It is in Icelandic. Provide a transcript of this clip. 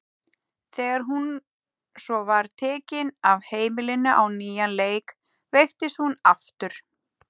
Þegar hún svo var tekin af heimilinu á nýjan leik veiktist hún aftur.